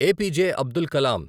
A P J Abdul column